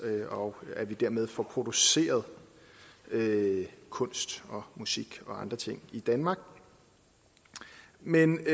og at vi dermed får produceret kunst og musik og andre ting i danmark men